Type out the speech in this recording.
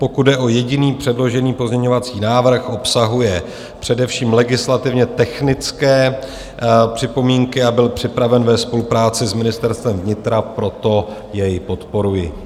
Pokud jde o jediný předložený pozměňovací návrh, obsahuje především legislativně technické připomínky a byl připraven ve spolupráci s Ministerstvem vnitra, proto jej podporuji.